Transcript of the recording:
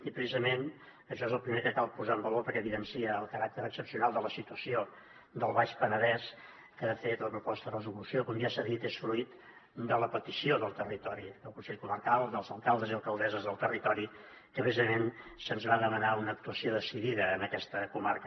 i precisament això és el primer que cal posar en valor perquè evidencia el caràcter excepcional de la situació del baix penedès que de fet la proposta de resolució com ja s’ha dit és fruit de la petició del territori del consell comarcal dels alcaldes i alcaldesses del territori que precisament se’ns va demanar una actuació decidida en aquesta comarca